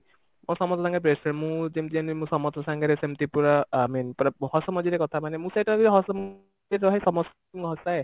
ମୋତେ ସମସ୍ତେ ଲାଗେ best friend ମୁଁ ଯେମିତି ସମସ୍ତଙ୍କ ସାଙ୍ଗରେ ସେମତି ପୁରା i mean ପୁରା ହସ ମଜାରେ କଥା ମାନେ ମୁଁ ସେଇଟା ହସ ରହେ ସମସ୍ତଙ୍କୁ ହସାଏ